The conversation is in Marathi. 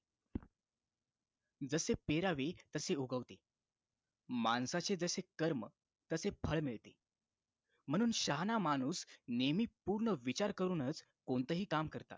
जसे पेरावे तसे उगवते माणसाचे जसे कर्म तसे फळ मिळते म्हणून शहाणा माणूस नेहमी पूर्ण विचार करूनच कोणतेही काम करतात